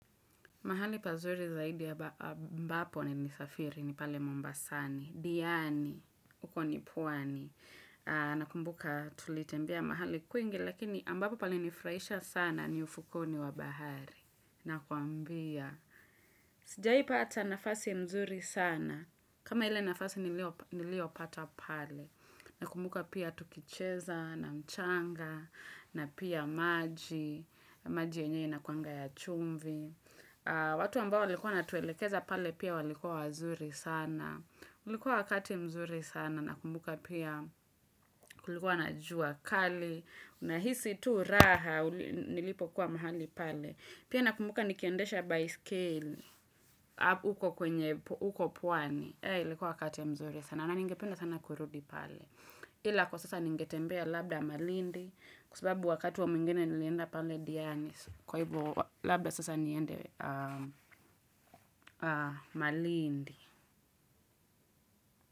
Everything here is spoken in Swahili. Mahali pazuri zaidi ya mbapo ni nisafiri ni pale mombasani. Diani, uko nipwani. Nakumbuka tulitembea mahali kuingi, lakini ambapo palinifraisha sana ni ufukoni wa bahari. Nakuambia. Sijai pata nafasi mzuri sana. Kama ile nafasi nilio pata pale. Nakumbuka pia tukicheza na mchanga. Na pia maji. Maji yenyewe inakuanga ya chumvi. Watu ambao walikuwa natuelekeza pale pia walikuwa wazuri sana ulikuwa wakati mzuri sana na kumbuka pia ulikuwa na juakali Una hisi tu raha nilipo kuwa mahali pale Pia nakumbuka nikiendesha baiskeli uko kwenye uko pwani Hei likuwa wakati mzuri sana na ningependa sana kurudi pale Hila kwa sasa ningetembea labda malindi Kusababu wakati wa mwingine nilienda pale diani Kwa ibo labda sasa niende Malindi.